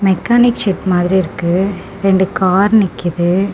Mechanic shed மாதிரி இருக்கு ரெண்டு கார் நிக்குது.